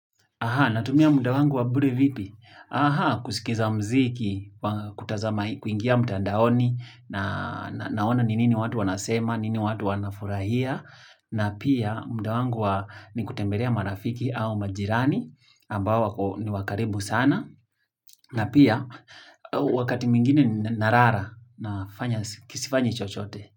Aha, natumia muda wangu wa bure vipi? Aha, kusikiza muziki, kutazama kuingia mtandaoni, naona ni nini watu wanasema, nini watu wanafurahia, na pia muda wangu ni kutembelea marafiki au majirani, ambao ni wa karibu sana, na pia wakati mwingine nalala nafanya sifanyi chochote.